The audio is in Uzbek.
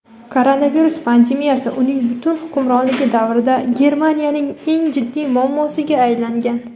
koronavirus pandemiyasi uning butun hukmronligi davrida Germaniyaning eng jiddiy muammosiga aylangan.